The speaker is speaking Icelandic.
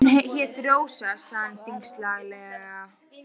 Hún hét Rósa, sagði hann þyngslalega.